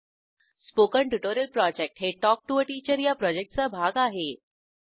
।। 0945 । Spoken tutorial project हे talk to teacher या प्रॉजेक्टचा भाग आहे